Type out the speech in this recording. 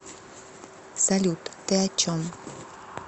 салют ты о чем